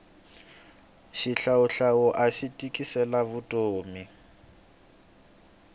xihlawuhlawu axi tikisela vutomi